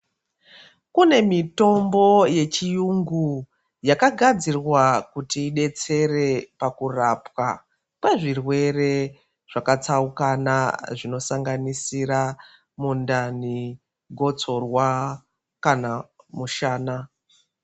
Kune mitombo yechiyungu yakagadzirwa kuti idetsere pakurapwa kwezvirwere zvakatsaukana zvinosanganisira mundani, gotsorwa kana mushana.